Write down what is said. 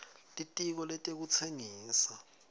litiko letekutsengisa